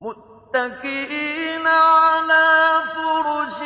مُتَّكِئِينَ عَلَىٰ فُرُشٍ